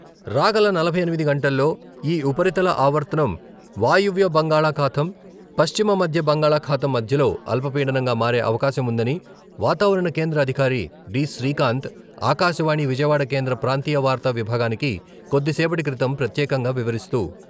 రాగల నలభై ఎనిమిది గంటల్లో ఈ ఉపరితల ఆవర్తనం వాయువ్య బంగాళాఖాతం, పశ్చిమ మధ్య బంగాళాఖాతం మధ్యలో అల్పపీడనంగా మారే అవకాశం ఉందని వాతావరణ కేంద్ర అధికారి డి. శ్రీకాంత్ ఆకాశవాణి విజయవాడ కేంద్ర ప్రాంతీయ వార్తా విభాగానికి కొద్దిసేపటి క్రితం ప్రత్యేకంగా వివరిస్తూ.